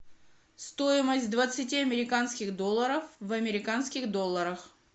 стоимость двадцати американских долларов в американских долларах